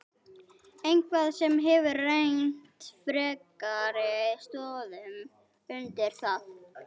Eitthvað sem hefur rennt frekari stoðum undir það?